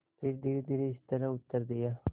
फिर धीरेधीरे इस तरह उत्तर दिया